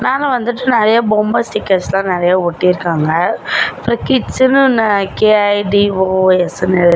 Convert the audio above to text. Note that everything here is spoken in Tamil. மேல வந்துட்டு நெறைய பொம்ம ஸ்டிக்கர்ஸ்லா நெறைய ஒட்டிருக்காங்க அப்புற கிட்ஸ்னு கே_ஐ_டி_ஓ_எஸ் னு --